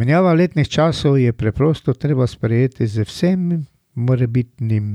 Menjavo letnih časov je preprosto treba sprejeti z vsem morebitnim